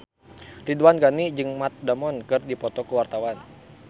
Ridwan Ghani jeung Matt Damon keur dipoto ku wartawan